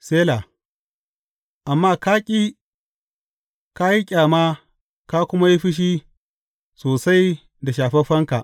Sela Amma ka ƙi, ka yi ƙyama ka kuma yi fushi sosai da shafaffenka.